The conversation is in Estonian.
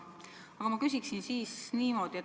Aga ma küsiksin siis niimoodi.